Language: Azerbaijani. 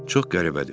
Çox qəribədir.